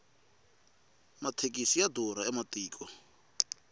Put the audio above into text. mathekisi ya durha ematiko